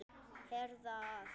Herða að.